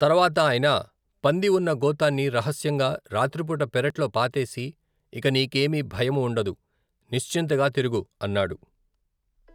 తరవాత ఆయన పంది ఉన్న గోతాన్ని రహస్యంగా రాత్రిపూట పెరట్లో పాతేసి, ఇక నీకేమీ భయం ఉండదు. నిశ్చీంతగా తిరుగు! అన్నాడు.